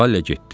Vale getdi.